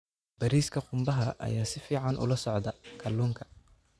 Bariiska qumbaha ayaa si fiican ula socda kalluunka.